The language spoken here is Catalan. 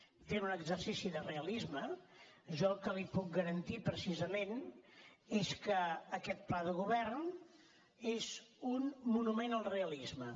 fent un exercici de realisme jo el que li puc garantir precisament és que aquest pla de govern és un monument al realisme